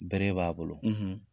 Bere b'a bolo, .